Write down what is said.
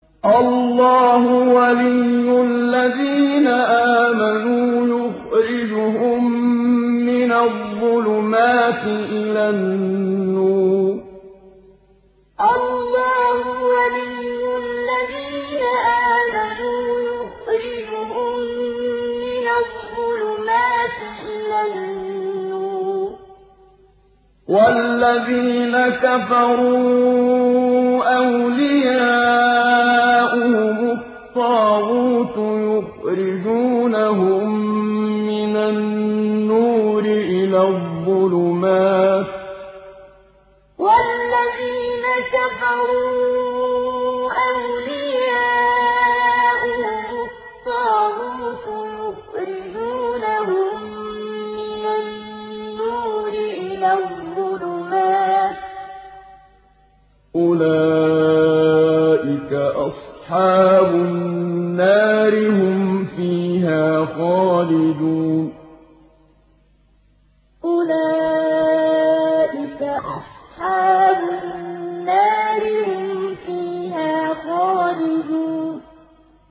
اللَّهُ وَلِيُّ الَّذِينَ آمَنُوا يُخْرِجُهُم مِّنَ الظُّلُمَاتِ إِلَى النُّورِ ۖ وَالَّذِينَ كَفَرُوا أَوْلِيَاؤُهُمُ الطَّاغُوتُ يُخْرِجُونَهُم مِّنَ النُّورِ إِلَى الظُّلُمَاتِ ۗ أُولَٰئِكَ أَصْحَابُ النَّارِ ۖ هُمْ فِيهَا خَالِدُونَ اللَّهُ وَلِيُّ الَّذِينَ آمَنُوا يُخْرِجُهُم مِّنَ الظُّلُمَاتِ إِلَى النُّورِ ۖ وَالَّذِينَ كَفَرُوا أَوْلِيَاؤُهُمُ الطَّاغُوتُ يُخْرِجُونَهُم مِّنَ النُّورِ إِلَى الظُّلُمَاتِ ۗ أُولَٰئِكَ أَصْحَابُ النَّارِ ۖ هُمْ فِيهَا خَالِدُونَ